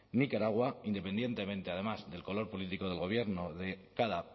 nicaragua independientemente además del color político del gobierno de cada